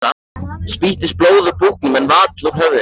Spýttist blóð úr búknum en vall úr höfðinu.